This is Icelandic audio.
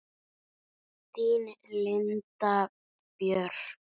Þín Linda Björk.